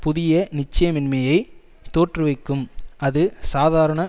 புதிய நிச்சயமின்மையை தோற்றுவிக்கும் அது சாதாரண